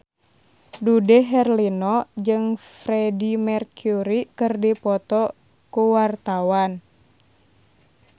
Dude Herlino jeung Freedie Mercury keur dipoto ku wartawan